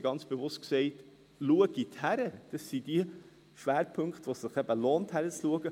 Ich habe ganz bewusst gesagt: Schauen Sie hin, das sind die Schwerpunkte, wo es sich eben lohnt, hinzuschauen.